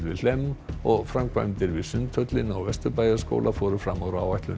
við Hlemm og framkvæmdir við Sundhöllina og Vesturbæjarskóla fóru fram úr áætlun